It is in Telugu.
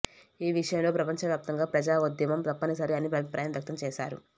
ఈ విషయంలో ప్రపంచవ్యాప్తంగా ప్రజాఉద్యమం తప్పనిసరి అని అభిప్రాయం వ్యక్తం చేశారు